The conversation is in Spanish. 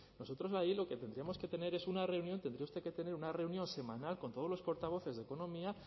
nosotros ahí lo que tendríamos que tener es una reunión tendría usted que tener una reunión semanal con todos los portavoces de economía